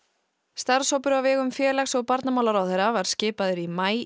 starfshópur á vegum félags og barnamálaráðherra var skipaður í maí